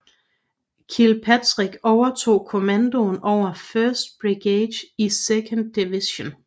Kilpatrick overtog kommandoen over 1st brigade i 2nd division